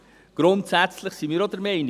Grundsätzlich sind wir auch der Meinung: